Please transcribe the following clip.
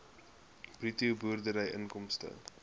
bruto boerdery inkomste